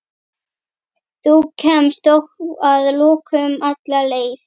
Þú kemst þó að lokum alla leið.